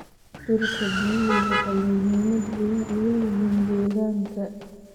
Dhirta biyuhu waxay muhiimad wayn u leeyihiin deegaanka.